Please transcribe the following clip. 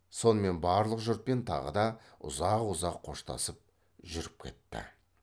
сонымен барлық жұртпен тағы да ұзақ ұзақ қоштасып жүріп кетті